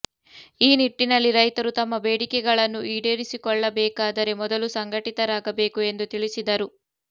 ಈ ನಿಟ್ಟಿನಲ್ಲಿ ರೈತರು ತಮ್ಮ ಬೇಡಿಕೆಗಳನ್ನು ಈಡೇರಿಸಿಕೊಳ್ಳಬೇಕಾದರೆ ಮೊದಲು ಸಂಘಟಿತರಾಗಬೇಕು ಎಂದು ತಿಳಿಸಿದರು